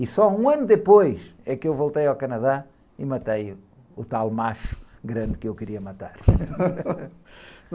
E só um ano depois é que eu voltei ao Canadá e matei o, o tal macho grande que eu queria matar.